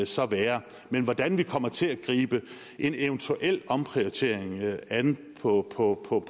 så være men hvordan vi kommer til at gribe en eventuel omprioritering an på på